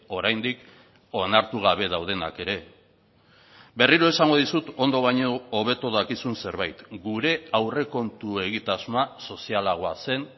oraindik onartu gabe daudenak ere berriro esango dizut ondo baino hobeto dakizun zerbait gure aurrekontu egitasmoa sozialagoa zen